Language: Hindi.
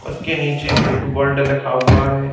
उसके नीचे बुक वर्ल्ड लखा हुआ है।